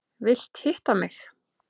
Vilt hitta mig.